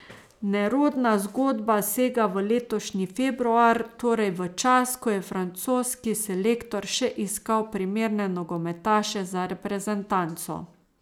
Nerodna zgodba sega v letošnji februar, torej v čas, ko je francoski selektor še iskal primerne nogometaše za reprezentanco.